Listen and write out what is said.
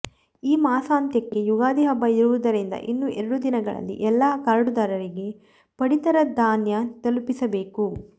ಈ ಮಾಸಾಂತ್ಯಕ್ಕೆ ಯುಗಾದಿ ಹಬ್ಬ ಇರುವುದರಿಂದ ಇನ್ನು ಎರಡು ದಿನಗಳಲ್ಲಿ ಎಲ್ಲ ಕಾರ್ಡುದಾರರಿಗೆ ಪಡಿತರ ಧಾನ್ಯ ತಲುಪಿಸಬೇಕು